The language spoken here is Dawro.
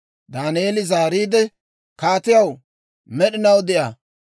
Daaneeli zaariide, «Kaatiyaw, med'inaw de'a!